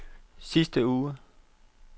sidste uge